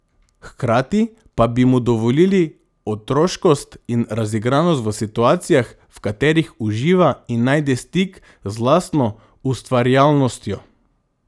Hkrati pa bi mu dovolili otroškost in razigranost v situacijah, v katerih uživa in najde stik z lastno ustvarjalnostjo.